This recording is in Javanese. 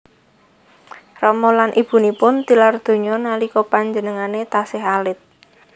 Rama lan ibunipun tilar donya nalika penjenengane tasih alit